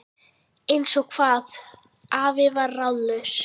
Eins og hvað? afi var ráðalaus.